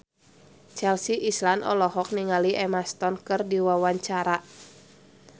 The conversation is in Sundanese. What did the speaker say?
Chelsea Islan olohok ningali Emma Stone keur diwawancara